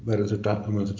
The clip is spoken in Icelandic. mun þetta